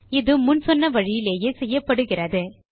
இது முன் சொன்ன வழியிலேயே செய்யப்படுகிறது